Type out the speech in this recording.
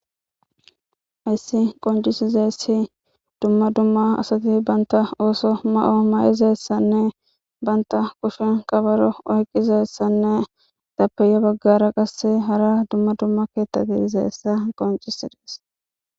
Hayssi qonccisiza asati dumma dumma hanizaysanne banta ooso oothizaysanne banta kushen kabaro oqqidaysanne etappe yaa baggara qasse dumma dumma keeththa dizaysa bessees.